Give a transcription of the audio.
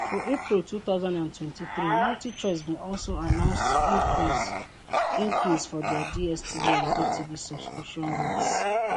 for april 2023 multichoice bin also announce increase increase for dia dstv and gotv subscription rates